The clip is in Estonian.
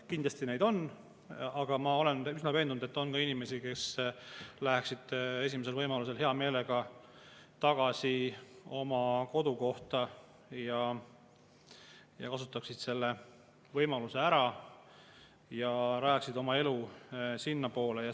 Kindlasti neid on, aga ma olen üsna veendunud, et on ka inimesi, kes läheksid esimesel võimalusel hea meelega tagasi oma kodukohta, kasutaksid selle võimaluse ära ja rajaksid oma.